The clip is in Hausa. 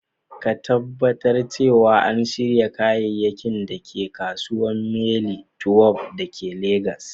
Ka Tabbatar cewa an shirya kayayyakin da ke kasuwar Mile 12 da ke Legas